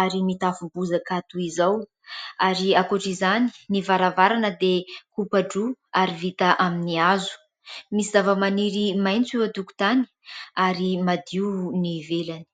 ary mitafo bozaka toy izao ary ankoatra izany, ny varavarana dia kopa-droa ary vita amin'ny hazo, misy zavamaniry maitso eo an-tokotany ary madio ny ivelany.